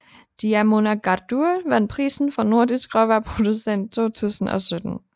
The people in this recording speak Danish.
Dímunargarður vandt prisen for Nordisk råvareproducent 2017